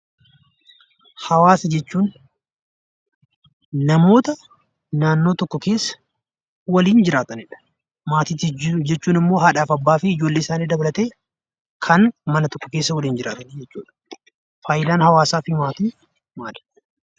Hawaasa jechuun namoota naannoo tokko keessa waliin jiraatanidha. Maatii jechuun immoo haadhaa fi abbaa ijoollee isaanii dabalatee kan mana tokko keessa waliin jiraatanii jechuudha. Faayidaan hawaasaa fi maatii maali?